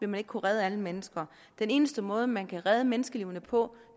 man ikke kunne redde alle mennesker den eneste måde man kan redde menneskeliv på